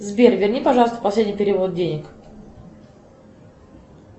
сбер верни пожалуйста последний перевод денег